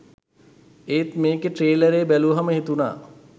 ඒත් මේකේ ට්‍රේලරේ බැලුවම හිතුනා